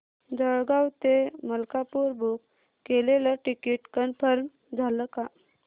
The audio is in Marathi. जळगाव ते मलकापुर बुक केलेलं टिकिट कन्फर्म झालं का